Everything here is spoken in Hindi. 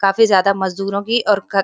काफी ज्यादा मजदूरों की और ख --